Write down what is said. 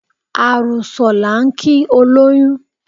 Àrùsọ̀ la ń kí olóyún